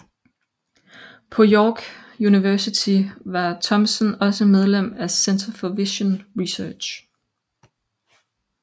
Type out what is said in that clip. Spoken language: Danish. På York University var Thompson også medlem af Centre for Vision Research